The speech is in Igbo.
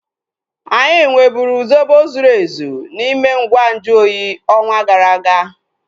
Anyị nweburu zobo zuru ezu n'ime ngwa nju oyi ọnwa gara aga